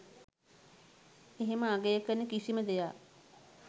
එහෙම අගය කරන කිසිම දෙයක්